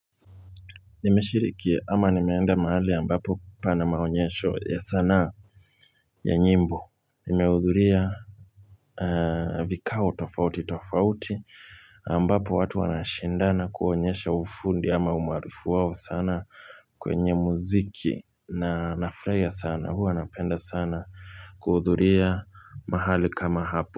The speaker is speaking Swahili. Nimeshiriki ama nimeenda mahali ambapo pana maonyesho ya sanaa ya nyimbo. Nimeudhuria vikao tofauti tofauti ambapo watu wanashindana kuonyesha ufundi ama umaarufu wao sana kwenye muziki na nafuraia sana. Huwa napenda sana kuudhuria mahali kama hapo.